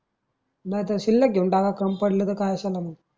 नाहीतर शिल्लक घेऊन टाका कमी पडल त काय असल मग